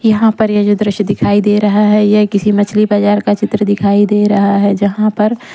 यहां पर यह जो दृश्य दिखाई दे रहा है यह किसी मछली बाजार का चित्र दिखाई दे रहा है जहां पर--